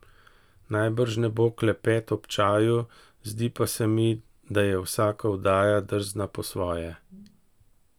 Najbrž ne bo klepet ob čaju, zdi pa se mi, da je vsaka oddaja drzna po svoje.